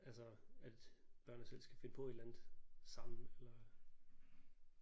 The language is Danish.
Altså at børnene selv skal finde på et eller andet sammen eller